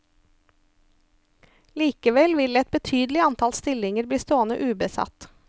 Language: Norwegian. Likevel vil et betydelig antall stillinger bli stående ubesatt.